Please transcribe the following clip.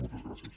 moltes gràcies